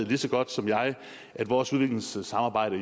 lige så godt som jeg at vores udviklingsarbejde